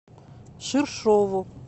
ширшову